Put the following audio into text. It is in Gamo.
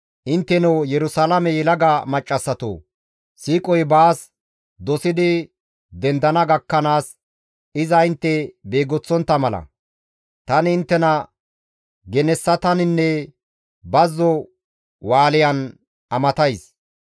Intteno Yerusalaame yelaga maccassatoo! siiqoy baas dosidi dendana gakkanaas iza intte beegoththontta mala, tani inttena genessataninne bazzo wushan amatays.